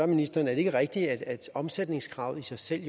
ministeren er det ikke rigtigt at omsætningskravet i sig selv